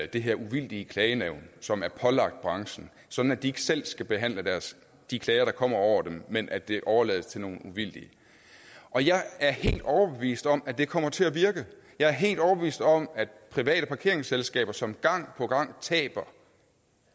det her uvildige klagenævn som er pålagt branchen sådan at de ikke selv skal behandle de klager der kommer over dem men at det overlades til nogle uvildige og jeg er helt overbevist om at det kommer til at virke jeg er helt overbevist om at private parkeringsselskaber som gang på gang taber